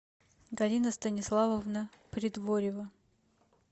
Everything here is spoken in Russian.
галина станиславовна придворева